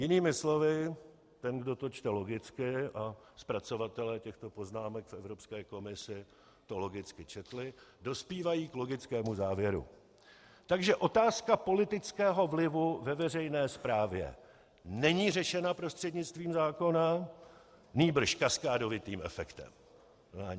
- Jinými slovy, ten, kdo to čte logicky, a zpracovatelé těchto poznámek v Evropské komisi to logicky četli, dospívají k logickému závěru: Takže otázka politického vlivu ve veřejné správě není řešena prostřednictvím zákona, nýbrž kaskádovitým efektem.